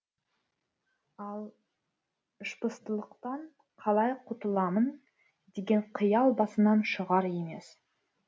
ал ішпыстылықтан қалай құтыламын деген қиял басынан шығар емес